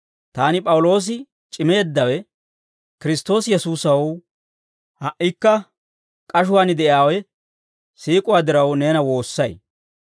Taani P'awuloosi c'imeeddawe, Kiristtoosi Yesuusaw ha"ikka k'ashuwaan de'iyaawe, siik'uwaa diraw, neena woossay.